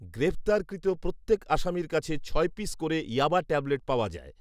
গ্রেফতারকৃত প্রত্যেক আসামীর কাছে ছয় পিস করে ইয়াবা ট্যাবলেট পাওয়া যায়